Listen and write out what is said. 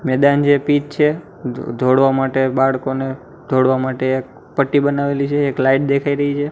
મેદાન છે પીચ છે દોડવા માટે બાળકોને દોડવા માટે એક પટ્ટી બનાવેલી છે એક લાઇટ દેખાય રહી છે.